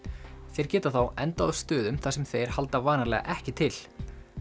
þeir geta þá endað á stöðum þar sem þeir halda vanalega ekki til